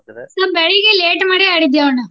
ಸ್ವಲ್ಪ್ ಬೆಳಿಗ್ಗೆ late ಮಾಡಿ ಆಡಿದ್ವಿ ಅಣ್ಣ.